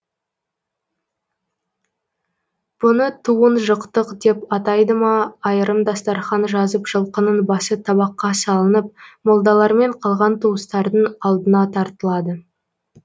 бұны туын жыққтық деп атайды ма айрым дастарқан жазып жылқының басы табаққа салынып молдалармен қалған туыстардың алдына тартылады